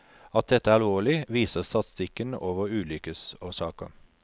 At dette er alvorlig, viser statistikken over ulykkesårsaker.